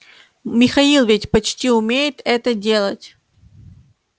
михаил ведь почти умеет это делать